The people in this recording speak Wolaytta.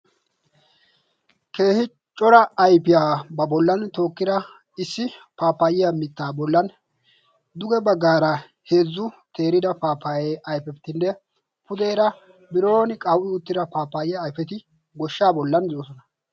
Keehi cora ayfiyaa ba bollan tookkira issi paapaayiya mittaa bollan duge baggaara heezzu teerida paapaayee aifeitinne pudeera bironi qawu'i uttira paapaayiya ayfeti goshshaa bollan doosona.